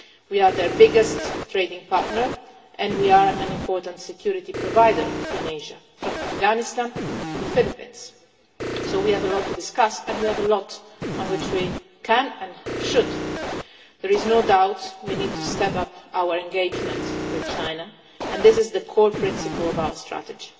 We are their biggest trading partner, and we are an important security provider in Asia, from Afghanistan to the Philippines, so we have a lot to discuss, and we have a lot on which we can and should work together. There is no doubt we need to step up our engagement with China and this is the core principle of our strategy.